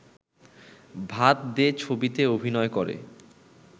ভাত দে ছবিতে অভিনয় করে